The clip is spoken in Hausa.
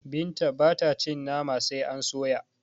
Binta bata cin Nama sai a soya